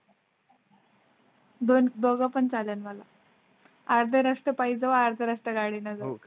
दोन दोघ पण चालेल मला. अर्धा रास्ता पायी जाऊ अर्धा रास्ता गाडीने जाऊ.